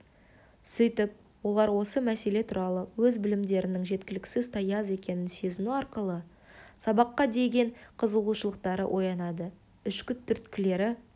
сөйтіп олар осы мәселе туралы өз білімдерінің жеткіліксіз таяз екенін сезіну арқылы сабаққа деген қызығушылықтары оянады ішкі түрткілері